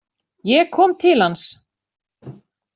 Ég kom til hans.